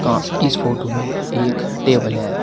अ इस फोटो में एक टेबल है।